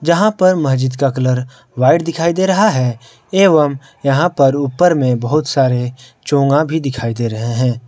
जहां पर मस्जिद का कलर व्हाइट दिखाई दे रहा है एवं यहां पर ऊपर में बहुत सारे चोगा भी दिखाई दे रहे हैं।